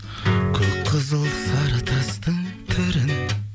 көк қызыл сары тастың түрін